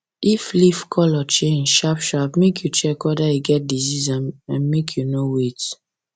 if leaf colour change sharp sharp make you check wether e get disease and make you no wait